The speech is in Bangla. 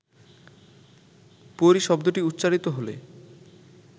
পরী শব্দটি উচ্চারিত হলে